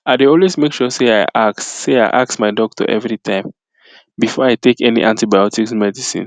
i dey always make sure say i ask say i ask my doctor everytime before i take any antibiotics medicine